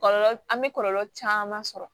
Kɔlɔlɔ an bɛ kɔlɔlɔ caman sɔrɔ